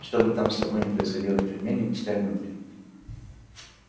что бы там с тобой ни происходило в тюрьме не пускай внутрь